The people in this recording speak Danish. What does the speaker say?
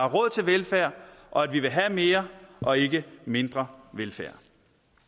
råd til velfærd og at vi vil have mere og ikke mindre velfærd